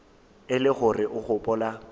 e le gore o gopola